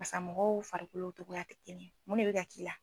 Basa mɔgɔw farikolo tɔgɔya ti kelen ye mun de bi ka k'i la